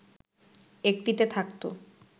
একটিতে থাকতো